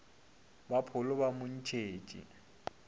ba pholo ba mo ntšhetše